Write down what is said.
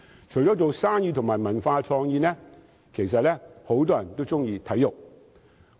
除了營商及文化創意，很多人也喜愛體育。